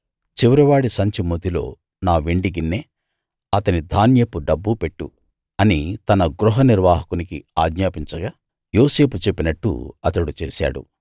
చివరివాడి సంచి మూతిలో నా వెండి గిన్నె అతని ధాన్యపు డబ్బు పెట్టు అని తన గృహ నిర్వాహకునికి ఆజ్ఞాపించగా యోసేపు చెప్పినట్టు అతడు చేశాడు